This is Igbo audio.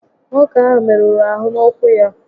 Nwoke áhụ́ merụrụ ahụ n'ụ́kwụ́ ya